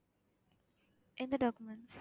எந்த documents